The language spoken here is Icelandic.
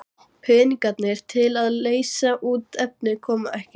Peningarnir til að leysa út efnið koma ekki.